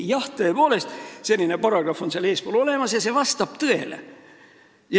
Jah, tõepoolest, selline paragrahv on seaduses eespool olemas ja see vastab tõele.